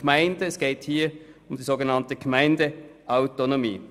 Somit geht es hier um die sogenannte Gemeindeautonomie.